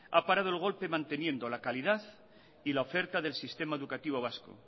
ha parado el golpe manteniendo la calidad y la oferta del sistema educativo vasco